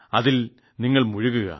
അതിൽ നിങ്ങൾ മുഴുകുക